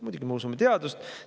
Muidugi me usume teadust.